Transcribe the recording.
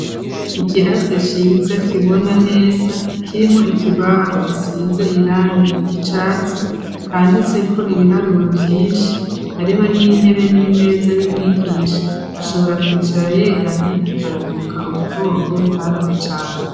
ikirase ciza kibona neza, kirimwo ikibaho gisize irangi ry'icatsi ,handitseko ibiharuro vyinshi, hariho n'intebe n'imeza y'umwigisha ,ashobora kwicara yegamye , akaruhuka umugongo ,ntarubye cane.